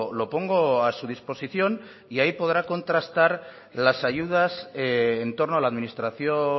lo pongo a su disposición y hay podrá contrastar las ayudas en torno a la administración